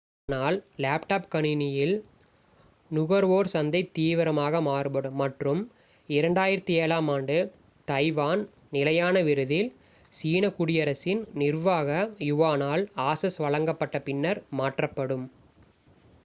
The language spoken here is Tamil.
ஆனால் லேப்டாப் கணினியில் நுகர்வோர் சந்தை தீவிரமாக மாறுபடும் மற்றும் 2007-ஆம் ஆண்டு தைவான் நிலையான விருதில் சீன குடியரசின் நிர்வாக யுவானால் ஆசஸ் வழங்கப்பட்ட பின்னர் மாற்றப்படும்